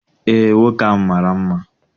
Eé, nwoke ahụ mara mma.